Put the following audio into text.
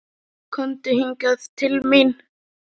Komdu hingað til mín.